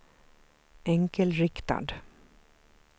enkelriktad